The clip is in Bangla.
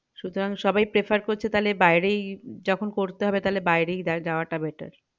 সুতরাং সবাই prefer করছে তালে বাইরেই যখন পড়তে হবে তালে বাইরেই যাও ~যাওয়া টা better